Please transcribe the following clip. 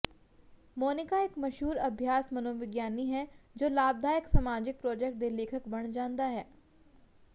ਮੋਨਿਕਾ ਇਕ ਮਸ਼ਹੂਰ ਅਭਿਆਸ ਮਨੋਵਿਗਿਆਨੀ ਹੈ ਜੋ ਲਾਭਦਾਇਕ ਸਮਾਜਿਕ ਪ੍ਰਾਜੈਕਟ ਦੇ ਲੇਖਕ ਬਣ ਜਾਂਦਾ ਹੈ